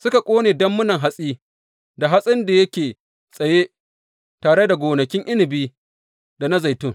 Suka ƙone dammunan hatsi da hatsin da yake tsaye, tare da gonakin inabi da na zaitun.